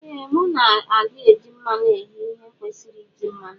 Ee mu na adi eji mmanu eghe ihe ekwesiri iji mmanu.